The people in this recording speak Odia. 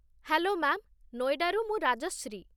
ହ୍ୟାଲୋ ମା'ମ୍, ନୋଏଡ଼ାରୁ ମୁଁ ରାଜଶ୍ରୀ।